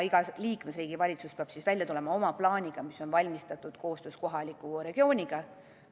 Iga liikmesriigi valitsus peab välja tulema oma plaaniga, mis on valminud koostöös kohaliku regiooniga.